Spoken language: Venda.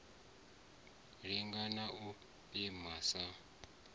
linga na u pima sa